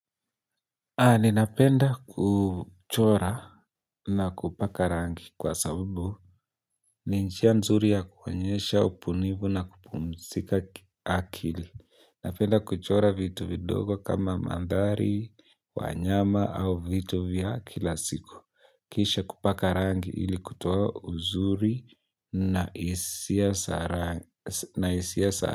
Ninapenda kuchora na kupaka rangi kwa sababu, ni njia nzuri ya kuonyesha ubunivu na kupumzika akili, napenda kuchora vitu vidogo kama mandhari, wanyama au vitu vya kila siku, kisha kupaka rangi ili kutoa uzuri na hisia za rangi.